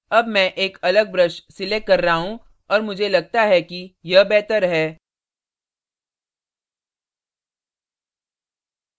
अब मैं एक अलग brush selecting कर रहा हूँ और मुझे लगता है कि यह बेहतर है